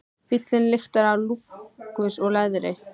Bíllinn lyktar af lúxus og leðri.